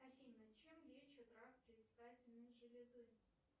афина чем лечат рак предстательной железы